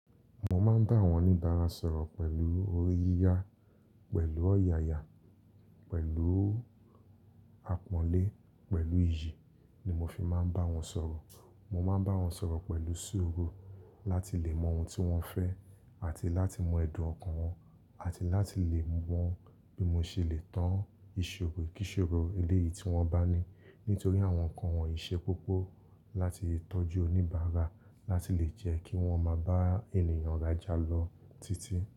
Mo máa ń bá àwọn oníbàárà sọ̀rọ̀ pẹ̀lú oriyiyá, pẹ̀lú ọ̀yàyà, pẹ̀lú àpọ́nlé, pẹ̀lú iyì ni mo fi máa ń bá wọn sọ̀rọ̀. Mo máa ń bá wọn sọ̀rọ̀ pẹ̀lú ṣuru láti lè mọ ohun tí wọ́n fẹ́ àti láti mọ ẹ̀dùn ọkàn wọn àti láti lè mọ bí mo ṣe lè tán ìṣòro kí ṣòro eléyìí tí wọ́n bá ní nítorí àwọn nǹkan wọn yi ṣe koko láti tọ́jú oníbàárà. Ba ti le je kí wọ́n máa bá ènìyàn raja lọ títí.